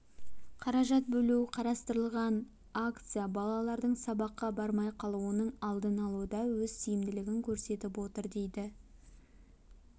қаражат бөлу қарастырылған акция балалардың сабаққа бармай қалуының алдын алуда өз тиімділігін көрсетіп отыр дейді